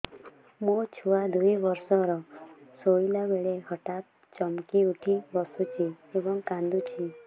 ମୋ ଛୁଆ ଦୁଇ ବର୍ଷର ଶୋଇଲା ବେଳେ ହଠାତ୍ ଚମକି ଉଠି ବସୁଛି ଏବଂ କାଂଦୁଛି